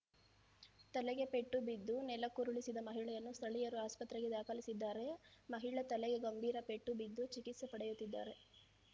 ತಲೆಗೆ ಪೆಟ್ಟು ಬಿದ್ದು ನೆಲಕ್ಕುರುಳಿಸಿದ ಮಹಿಳೆಯನ್ನು ಸ್ಥಳೀಯರು ಆಸ್ಪತ್ರೆಗೆ ದಾಖಲಿಸಿದ್ದಾರೆ ಮಹಿಳೆ ತಲೆಗೆ ಗಂಭೀರಪೆಟ್ಟು ಬಿದ್ದು ಚಿಕಿತ್ಸೆ ಪಡೆಯುತ್ತಿದ್ದಾರೆ